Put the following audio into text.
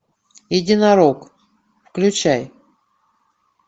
единорог включай